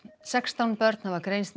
sextán börn hafa greinst